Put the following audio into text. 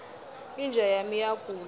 inja yami iyagula